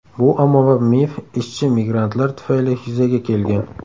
Bu ommabop mif ishchi migrantlar tufayli yuzaga kelgan.